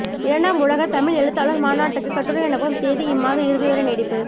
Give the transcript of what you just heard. இரண்டாம் உலகத் தமிழ் எழுத்தாளர் மாநாட்டுக்குக் கட்டுரை அனுப்பும் தேதி இம்மாத இறுதிவரை நீட்டிப்பு